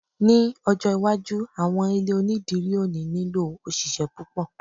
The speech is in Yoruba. ní ọjọ iwájú, àwọn ilé onidiri o ni nilo òṣìṣẹ́ púpò